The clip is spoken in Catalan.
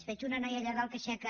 veig una noia allà dalt que aixeca